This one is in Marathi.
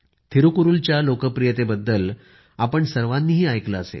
थिरूकुरूलच्या लोकप्रियतेबद्दल आपण सर्वांनीही ऐकलं